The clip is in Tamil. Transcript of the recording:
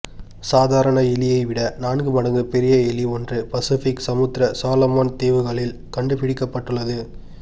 சாதாரண எலியை விட நான்கு மடங்கு பெரிய எலி ஒன்று பசுபிக் சமுத்திர சொலோமொன் தீவுகளில் கண்டுபிடிக்கப்பட்டுள்ளது